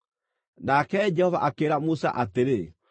Nake Jehova akĩĩra Musa atĩrĩ,